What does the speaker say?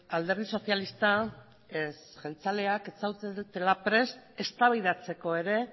alderdi sozialistak ez jeltzaleak ez zaudetela prest eztabaidatzeko ere